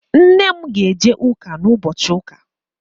Nne m ga-eje ụka ụbochị ụka.